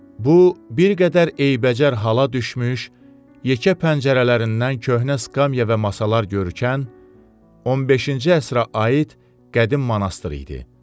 Bu, bir qədər eybəcər hala düşmüş, yekə pəncərələrindən köhnə skamya və masalar görünən, 15-ci əsrə aid qədim monastır idi.